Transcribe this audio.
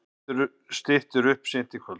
Styttir upp seint í kvöld